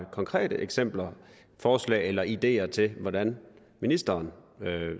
konkrete eksempler forslag eller ideer til hvordan ministeren